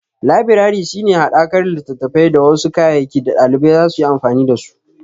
Labirari shi ne haɗakar littattafai da wasu kayayyaki da ɗalibai zasu yi amfani da su.